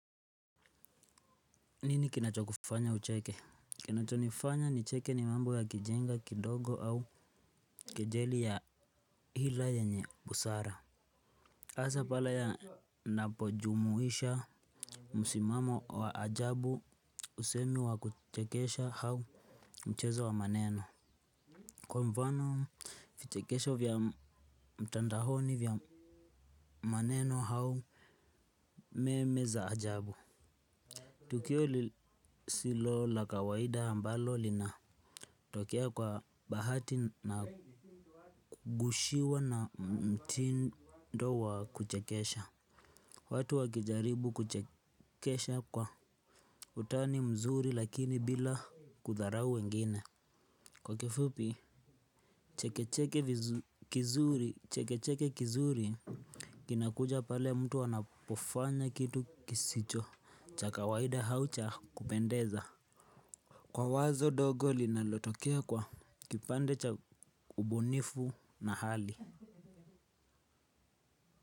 Nini kinacho kufanya ucheke? Kinacho nifanya nicheke ni mambo ya kijinga kidogo au kejeli ya hila yenye busara. Asa pale yanapojumuisha msimamo wa ajabu usemi wa kuchekesha au mchezo wa maneno. Kwa mfano, vichekesho vya mtandaoni vya maneno au meme za ajabu. Tukio lisilo la kawaida ambalo lina tokea kwa bahati na kukiwa na mtindo wa kuchekesha watu wakijaribu kuchekesha kwa utani mzuri lakini bila kudharau wengine. Kwa kifupi, chekecheke kizuri, chekecheke kizuri. Kinakuja pale mtu wanapofanya kitu kisicho, cha kawaida au cha kupendeza. Kwa wazo dogo linalotokea kwa kipande cha ubunifu na hali.